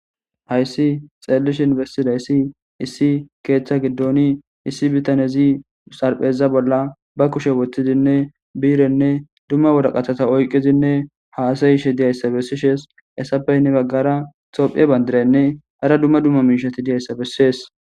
hayssi xeellishin bestidayssi issi keeththa giddoni issi bitanezi sarpheza bolla ba kushe woththizinne biirenne dumma woda qatata oyqqizinne haasayishe diyayssa bessishees essapeynne baggara tophiye bandiraynne hara dumma dumma miishati diyayssa bessees